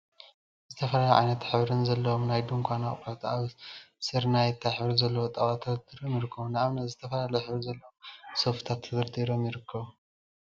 ዝተፈላለዩ ዓይነትን ሕብርን ዘለዎም ናይ ድንኳን አቁሑት አብ ስርናየታይ ሕብሪ ዘለዎ ጣውላ ተደርዲሮም ይርከቡ፡፡ ንአብነት ዝተፈላለዩ ሕብሪ ዘለዎም ሶፍትታት ተደርዲሮም ይርከቡ፡፡